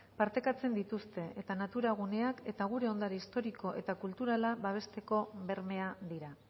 partekatzen dituzte eta natura guneak eta gure ondare historiko eta kulturala babesteko bermea dira